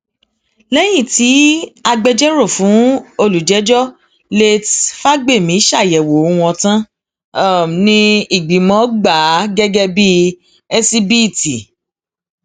lẹyìn tí agbẹjọrò fún olùjẹjọ látèé fagbemi ṣàyẹwò wọn tán ni ìgbìmọ gbà á gẹgẹ bíi ẹsíbíìtì